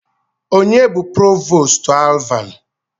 Onye bụ Provoostu Alvan?